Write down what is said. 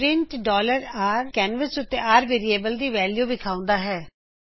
print canvas ਉੱਤੇ r variable ਦੀ value ਵਿਖਾਉਂਦਾ ਹੈਂ